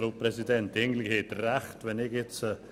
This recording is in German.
Eigentlich haben Sie recht.